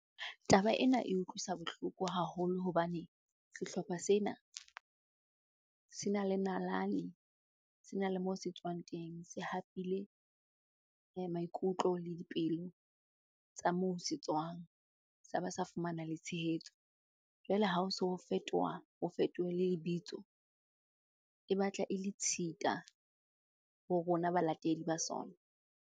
Taba ena e utlwisa bohloko haholo hobane sehlopha sena se na le nalane, se na le moo se tswang teng. Se hapile maikutlo le dipelo tsa moo se tswang, sa ba sa fumana le tshehetso. Jwale ha o so fetoha, ho fetohe le lebitso e batla e le tshita ho rona balatedi ba sona.